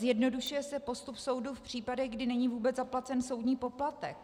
Zjednodušuje se postup soudu v případech, kdy není vůbec zaplacen soudní poplatek.